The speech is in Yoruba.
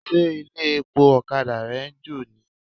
Ṣé ilé-epo ọ̀kadà rẹ ń jò ni?